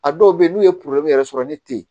A dɔw be yen n'u ye yɛrɛ sɔrɔ ni te ye